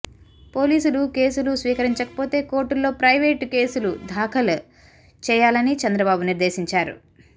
పోలీసులు కేసులు స్వీకరించకపోతే కోర్టుల్లో ప్రయివేటు కేసులు దాఖలు చేయా లని చంద్రబాబు నిర్ధేశించారు